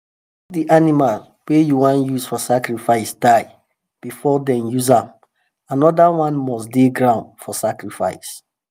if the animal wey u wan use for sacrifice die before them use am another one must dey ground for sacrifice.